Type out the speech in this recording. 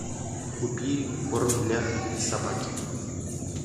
купи корм для собаки